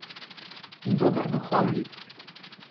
In dober duhovnik.